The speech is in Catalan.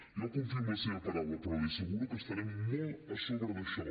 jo confio en la seva paraula però li asseguro que estarem molt a sobre d’això